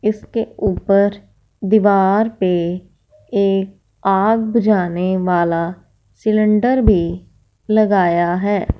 इसके ऊपर दीवार पे एक आग बुझाने वाला सिलेंडर भीं लगाया हैं।